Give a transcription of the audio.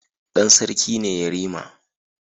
Dan sarki ne yarima